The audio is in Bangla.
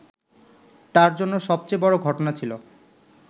তাঁর জন্য সবচেয়ে বড় ঘটনা ছিল